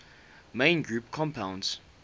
main group compounds